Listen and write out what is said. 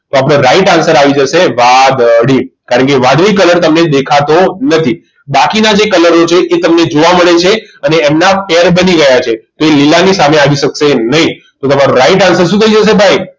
તો આપણો right answer આવી જશે વાદળી કારણકે વાદળી colour તમને દેખાતો નથી બાકીના colour છે તે તમને જોવા મળે છે અને તેમના pair બની ગયા છે તે લીલાની સામે આવી શકશે નહીં તો તમારો right answer શું થઈ જશે ભાઈ